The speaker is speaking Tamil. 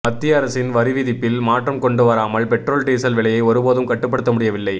மத்திய அரசின் வரிவிதிப்பில் மாற்றம் கொண்டுவராமல் பெட்ரோல் டீசல் விலையை ஒருபோதும் கட்டுப்படுத்த முடியவில்லை